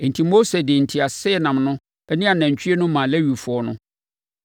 Enti Mose de nteaseɛnam no ne anantwie no maa Lewifoɔ no.